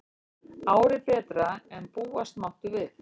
Árið betra en búast mátti við